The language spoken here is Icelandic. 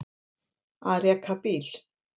Að reka bíl